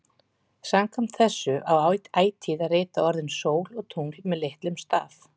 Samkvæmt þessu á ætíð að rita orðin sól og tungl með litlum staf.